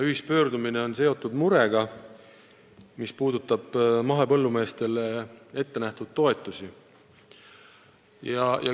Ühispöördumine väljendab muret, mis on seotud mahepõllumeestele ettenähtud toetustega.